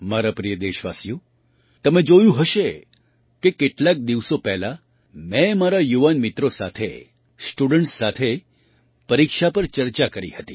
મારા પ્રિય દેશવાસીઓ તમે જોયું હશે કે કેટલાક દિવસો પહેલાં મેં મારા યુવાન મિત્રો સાથે સ્ટુડન્ટ્સ સાથે પરીક્ષા પર ચર્ચા કરી હતી